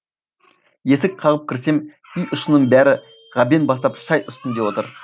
есік қағып кірсем үй ішінің бәрі ғабең бастап шай үстінде отыр